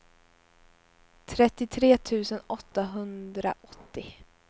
trettiotre tusen åttahundraåttio